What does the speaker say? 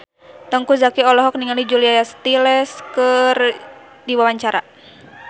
Teuku Zacky olohok ningali Julia Stiles keur diwawancara